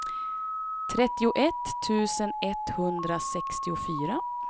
trettioett tusen etthundrasextiofyra